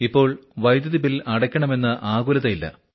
ഇപ്പോൾ വൈദ്യുതി ബിൽ അടക്കണമെന്ന ആകുലതയില്ല